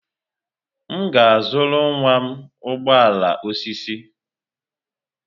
M ga-azụrụ nwa m ụgbọ ala osisi.